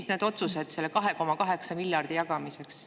No need otsused selle 2,8 miljardi jagamiseks.